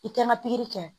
I kɛ ma pikiri kɛ